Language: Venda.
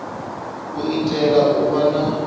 u itela u vha na